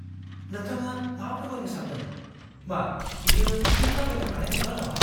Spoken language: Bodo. नोंथाङा मा फोरमायनो सान्दों? मा बियो फिन थाबायनो हानाय नंला नामा?